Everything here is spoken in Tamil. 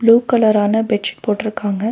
ப்ளூ கலரான பெட் சிட் போட்ருக்காங்க.